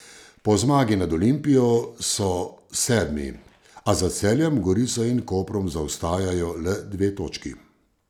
Po zmagi nad Olimpijo so sedmi, a za Celjem, Gorico in Koprom zaostajajo le dve točki.